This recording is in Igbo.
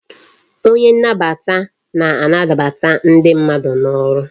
Onye nnabata na-anbata ndị mmadụ n'ụlọ ọrụ